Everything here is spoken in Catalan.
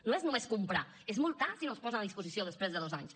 no és només comprar és multar si no els posen a disposició després de dos anys